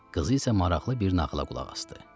Qızı isə maraqlı bir nağıla qulaq asdı.